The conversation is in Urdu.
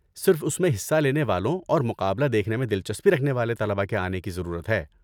صرف اس میں حصہ لینے والوں اور مقابلہ دیکھنے میں دلچسپی رکھنے والے طلبہ کے آنے کی ضرورت ہے۔